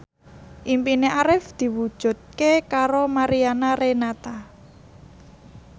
impine Arif diwujudke karo Mariana Renata